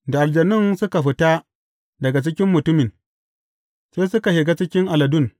Da aljanun suka fita daga cikin mutumin, sai suka shiga cikin aladun.